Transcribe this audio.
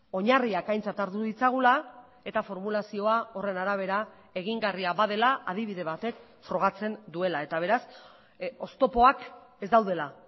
oinarriak aintzat hartu ditzagula eta formulazioa horren arabera egingarria badela adibide batek frogatzen duela eta beraz oztopoak ez daudela